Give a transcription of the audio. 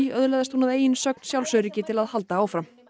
öðlaðist hún að eigin sögn sjálfsöryggi til að halda áfram